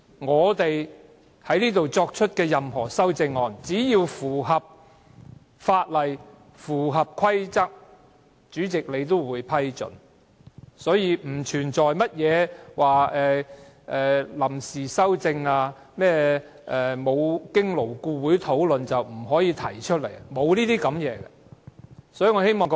我們提出的任何修正案，只要符合法例和規則，主席也會批准，所以不存在臨時提出修正案，或沒經勞顧會討論不可以提出修正案等問題。